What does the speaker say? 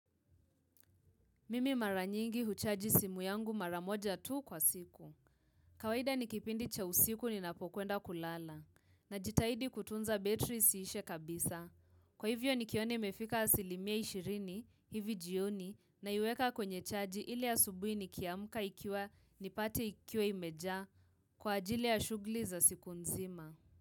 Mimi mara nyingi huchaji simu yangu mara moja tu kwa siku. Kawaida ni kipindi cha usiku ninapokwenda kulala. Najitahidi kutunza betri isiishe kabisa. Kwa hivyo nikiona imefika asilimia ishirini, hivi jioni, naiweka kwenye chaji ili asubuhi nikiamka ikiwa nipate ikiwa imejaa kwa ajili ya shughuli za siku nzima.